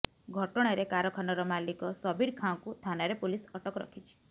ଘଟଣାରେ କାରଖାନାର ମାଲିକ ସବୀର ଖାଁକୁ ଥାନାରେ ପୋଲିସ ଅଟକ ରଖିଛି